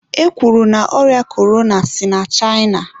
e kwuru na ọrịa korona si na China.